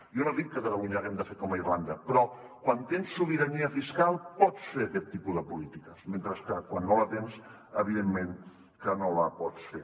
jo no dic que a catalunya haguem de fer com a irlanda però quan tens sobirania fiscal pots fer aquest tipus de polítiques mentre que quan no la tens evidentment que no la pots fer